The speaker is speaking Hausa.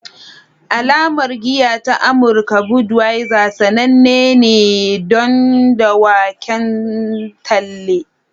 Alamar giya ta Amurka Budweiser sananne ne don dawaken talle